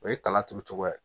O ye kala turu cogoya ye